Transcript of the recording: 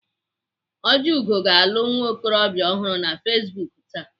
Ojiugo ga-alụ nwa okorobịa ọ hụrụ na Facebook taa.